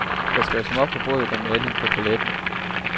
Der skal jo smør på brødet og maling på paletten.